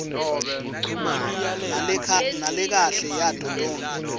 nalekahle yato tonkhe